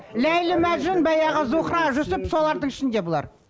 ләйлі мәжнүн баяғы зухра жүсіп солардың ішінде бұлар